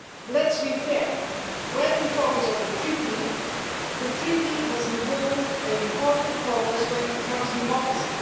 Let's be fair when we focus on the Treaty, the Treaty has involved important progress when it comes to democracy.